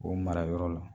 O mara yɔrɔ la